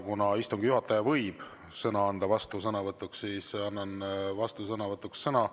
Kuna istungi juhataja võib anda sõna vastusõnavõtuks, siis annan vastusõnavõtuks sõna.